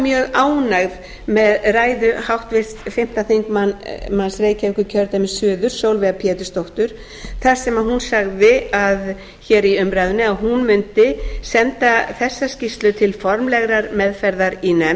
mjög ánægð með ræðu háttvirts fimmti þingmaður reykjavíkurkjördæmis suður sólveigar pétursdóttur þar sem hún sagði hér í umræðunni að hún mundi senda þessa skýrslu til formlegrar meðferðar í nefnd